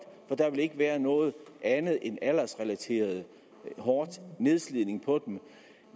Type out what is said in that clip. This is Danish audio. der vil ikke være noget andet end aldersrelateret hård nedslidning